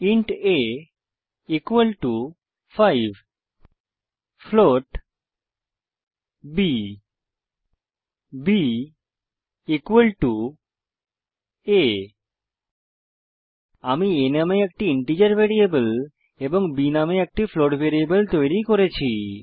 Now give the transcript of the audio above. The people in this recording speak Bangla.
int a equal to 5 float b b equal to a আমি a নামে একটি ইন্টিজার ভ্যারিয়েবল এবং b নামে একটি ফ্লোট ভ্যারিয়েবল তৈরী করেছি